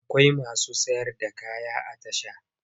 Akwai masu sayar da kaya a tasha.